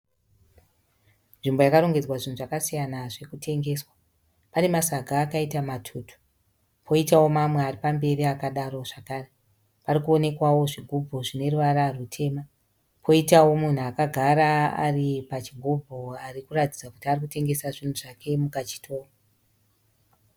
Nzvimbo yakarongedzwa zvinhu zvakasiyana zviri kutengeswa. Pane masaga akaita matutu. Poitawo mamwe ari pamberi akadaro zvakare. Pari kuonekwawo zvigubhu zvine ruvara rutema. Kwoitawo munhu akagara ari pachigubhu ari kuratidza kuti ari kutengesa zvinhu zvake mukachitoro.